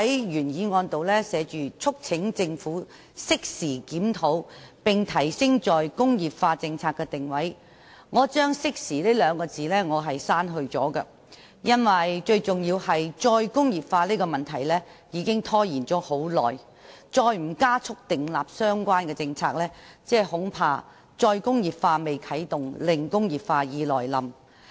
原議案提到"促請政府適時檢討並提升'再工業化'政策的定位"，我將"適時"兩字刪去，因為最重要的是"再工業化"這個問題已拖延很久，如再不加快訂立相關政策，恐怕"再工業化"未啟動，"零工業化"已來臨。